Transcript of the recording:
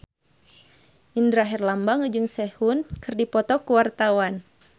Indra Herlambang jeung Sehun keur dipoto ku wartawan